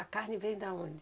A carne vem da onde?